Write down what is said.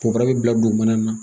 Kɔgɔ bi bila dugumana na